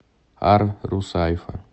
ар русайфа